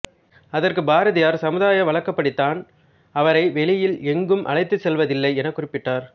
அதற்கு பாரதியார் சமுதாய வழக்கப்படி தான் அவரை வெளியில் எங்கும் அழைத்துச் செல்வதில்லை என குறிப்பிட்டார்